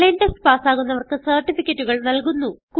online test പാസ്സാകുന്നവർക്ക് സർട്ടിഫികറ്റുകൾ നല്കുന്നു